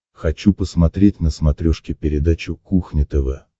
хочу посмотреть на смотрешке передачу кухня тв